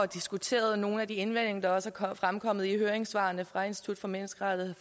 diskuteret nogle af de indvendinger der også er fremkommet i høringssvarene fra institut for menneskerettigheder